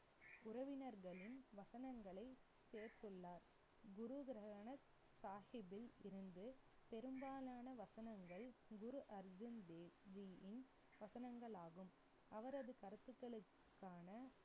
உறவினர்களின் வசனங்களை சேர்த்துள்ளார். குரு கிரந்த சாஹிப்பில் இருந்து, பெரும்பாலான வசனங்கள் குரு அர்ஜன் தேவ்ஜியின் வசனங்களாகும், அவரது கருத்துக்களுக்கான